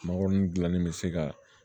Mangoron dilanni bɛ se ka